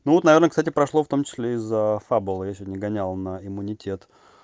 ну вот наверное кстати прошло в том числе за фабула я сегодня гонял на иммунитет